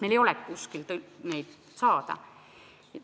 Neil ei ole teenust kuskilt saada.